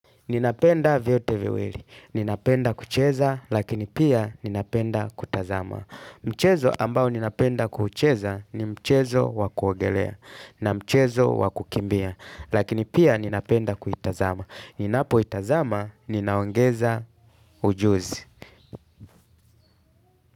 Ninapenda vyote viwili. Ninapenda kucheza, lakini pia ninapenda kutazama. Mchezo ambao ninapenda kucheza ni mchezo wa kuogelea na mchezo wa kukimbia. Lakini pia ninapenda kuitazama. Ninapo itazama, ninaongeza ujuzi.